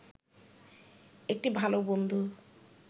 একটি ভালো বন্ধু